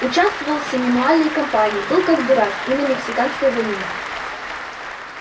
участвовал и в семинуальной кампании был как дурак и на мексиканской войне